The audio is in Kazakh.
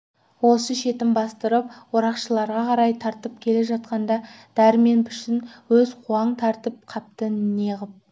осы шетін бастырып орақшыларға қарай тартып келе жатқанда дәрмен пішін өзі қуаң тартып қапты неғып